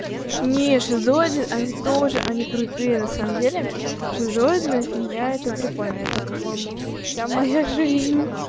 не шизоиды они тоже они крутые на самом деле шизоидная фигня это прикольно это по-моему вся моя жизнь